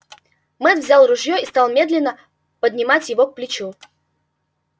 мэтт взял ружье и стал медленно поднимать его к плечу